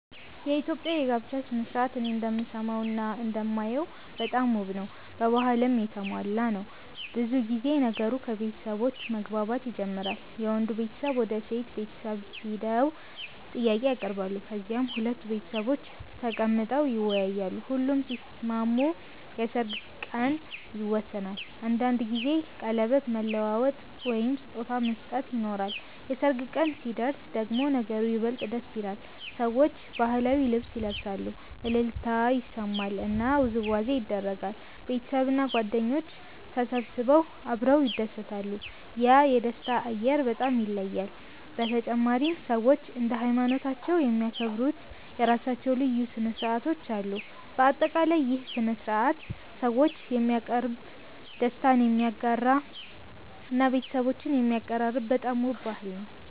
የኢትዮጵያ የጋብቻ ሥነ ሥርዓት እኔ እንደምሰማውና እንደማየው በጣም ውብ ነው፣ በባህልም የተሞላ ነው። ብዙ ጊዜ ነገሩ ከቤተሰቦች መግባባት ይጀምራል፤ የወንዱ ቤተሰብ ወደ የሴት ቤተሰብ ሄደው ጥያቄ ያቀርባሉ፣ ከዚያም ሁለቱ ቤተሰቦች ተቀምጠው ይወያያሉ። ሁሉም ሲስማሙ የሰርግ ቀን ይወሰናል፤ አንዳንድ ጊዜ ቀለበት መለዋወጥ ወይም ስጦታ መስጠት ይኖራል። የሰርግ ቀን ሲደርስ ደግሞ ነገሩ ይበልጥ ደስ ይላል፤ ሰዎች ባህላዊ ልብስ ይለብሳሉ፣ እልልታ ይሰማል እና ውዝዋዜ ይደረጋል። ቤተሰብና ጓደኞች ተሰብስበው አብረው ይደሰታሉ፤ ያ የደስታ አየር በጣም ይለያል። በተጨማሪም ሰዎች እንደ ሃይማኖታቸው የሚያከብሩት የራሳቸው ልዩ ሥነ ሥርዓቶች አሉ። በአጠቃላይ ይህ ሥነ ሥርዓት ሰዎችን የሚያቀርብ፣ ደስታን የሚያጋራ እና ቤተሰቦችን የሚያቀራርብ በጣም ውብ ባህል ነው።